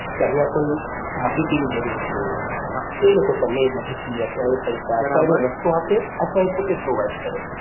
કે અહિયા કોઈ માહિતી ની જરૂર છે તો એ લોકો તમને એ માહિતી અથવા એ પૈસા અથવા એનો રસ્તો આપે અથવા એ પોતે provide કરે.